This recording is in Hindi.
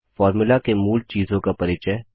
फॉर्मुला के मूल चीजों का परिचय